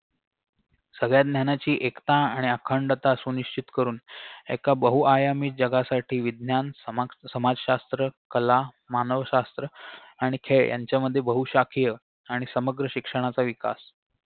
सगळ्या ज्ञानाची एकता आणि अखंडता सुनिश्चित करून एका बहुआयामी जगासाठी विज्ञान समाग समाजशास्त्र कला मानवशास्त्र आणि खेळ यांच्यामध्ये बहुशाखीय आणि समग्र शिक्षणाचा विकास